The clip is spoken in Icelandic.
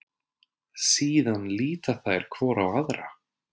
Síðan líta þær hvor á aðra.